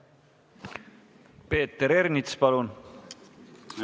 Peeter Ernits, palun!